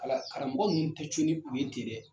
Ala karamɔgɔ ninnu tɛ to n'u ye ten dɛ.